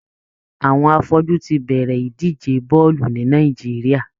Àwọn afọ́jú ti bẹ̀rẹ̀ ìdíje bọ́ọ̀lù ní Nàìjíríà.